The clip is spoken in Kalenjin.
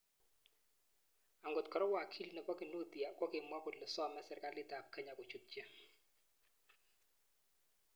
Angot kora wakili nepo Kinuthia kokimwa kole some serkalit ap Kenya kochutchi.